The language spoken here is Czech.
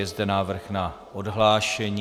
Je zde návrh na odhlášení.